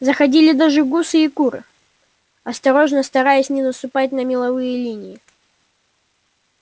заходили даже гуси и куры осторожно стараясь не наступать на меловые линии